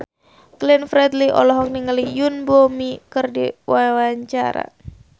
Glenn Fredly olohok ningali Yoon Bomi keur diwawancara